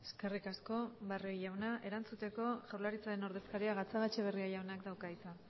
eskerrik asko barrio jauna erantzuteko jaurlaritzaren ordezkariak gatzagaetxebarria jaunak dauka hitza